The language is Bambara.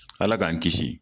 Ala k'an kisi